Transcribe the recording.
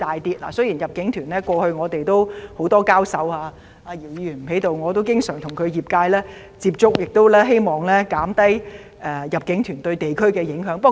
雖然過去就入境團的問題，我與姚議員多次交手——姚議員不在席——我亦經常與他代表的業界接觸，希望減低入境團對本地居民的影響。